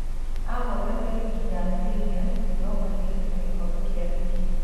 Ahotete Ligi ya Premia, Europa League na Gikombe kia Ligi